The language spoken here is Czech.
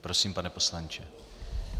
Prosím, pane poslanče.